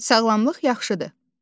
Sağlamlıq yaxşıdır.